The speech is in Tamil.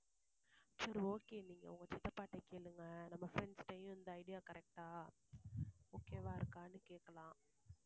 சரி okay நீங்க உங்க சித்தப்பாக்கிட்ட கேளுங்க, நம்ம friends கிட்டயும் இந்த idea correct ஆ okay வா இருக்கான்னு கேக்கலாம்.